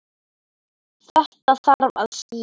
Þetta þarf að skýra.